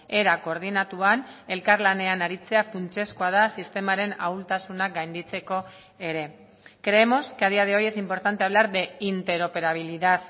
era koordinatuan elkarlanean aritzea funtsezkoa da sistemaren ahultasunak gainditzeko ere creemos que a día de hoy es importante hablar de interoperabilidad